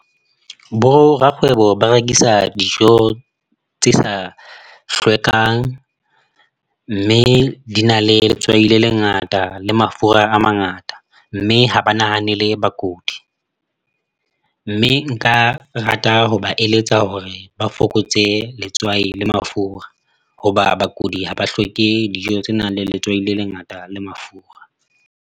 Borakgwebo ba rekisa dijo tse sa hlwekang, mme di na le letswai le lengata le mafura a mangata mme ha ba nahanele bakudi, mme nka rata ho ba eletsa hore ba fokotse letswai le mafura hoba bakudi ha ba hloke dijo tse nang le letswai le lengata la mafura.